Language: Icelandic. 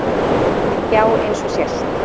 Já eins og sést.